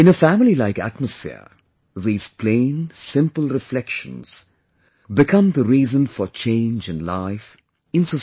In a family like atmosphere, these plain, simple reflections become the reason for change in life, in society